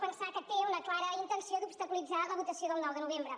pensar que té una clara intenció d’obstaculitzar la votació del nou de novembre